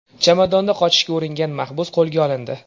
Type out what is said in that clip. Chamadonda qochishga uringan maxbus qo‘lga olindi.